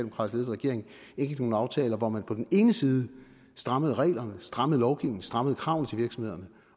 regering indgik nogle aftaler hvor man på den ene side strammede reglerne strammede lovgivningen strammede kravene til virksomhederne